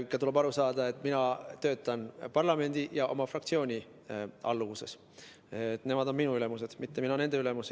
Tuleb ikka aru saada, et mina töötan parlamendi ja oma fraktsiooni alluvuses, nemad on minu ülemused, mitte mina ei ole nende ülemus.